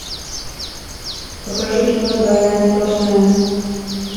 покажи кино двойная сплошная